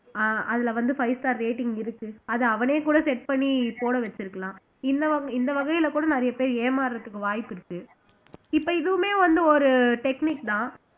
அஹ் அதுல வந்து five star rating இருக்கு அத அவனே கூட set பண்ணி போட வச்சிருக்கலாம் இந்த வகை இந்த வகையில கூட நிறைய பேர் ஏமாறுறதுக்கு வாய்ப்பு இருக்கு இப்ப இதுவுமே வந்து ஒரு technique தான்